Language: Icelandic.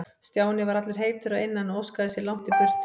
Stjáni var allur heitur að innan og óskaði sér langt í burtu.